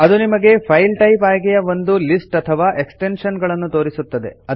ಅದು ನಿಮಗೆ file type ಆಯ್ಕೆಯ ಒಂದು ಲಿಸ್ಟ್ ಅಥವಾ ಎಕ್ಸ್ಟೆನ್ಶನ್ ಗಳನ್ನು ತೋರಿಸುತ್ತದೆ